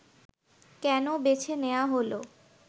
কেন বেছে নেয়া হলো